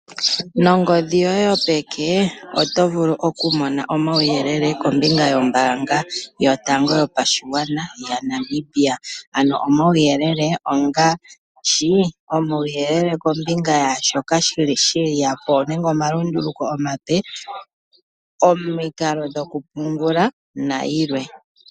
Nongodhi yoye yopeke oto vulu okumona omauyelele kombinga yombanga yotango yopashigwana yaNamibia, ano omauyelele ongaashi; omauyelele kombinga yomalunduluko omape geya mombanga nenge omikalo dhokupungula.